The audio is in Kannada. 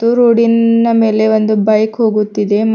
ರೋಡಿ ನ ಮೇಲೆ ಒಂದು ಬೈಕ್ ಹೋಗುತ್ತಿದೆ ಮತ್ತು.